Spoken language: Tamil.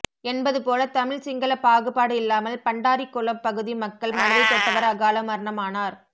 என்பது போலதமிழ் சிங்களபாகுபாடு இல்லாமல்பண்டாரிக்குளம் பகுதி மக்கள் மனதை தொட்டவர் அகால மரணமானார்